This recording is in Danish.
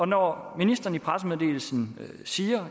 når ministeren i pressemeddelelsen siger